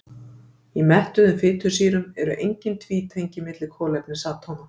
Í mettuðum fitusýrum eru engin tvítengi milli kolefnisatóma.